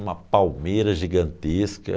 Uma palmeira gigantesca.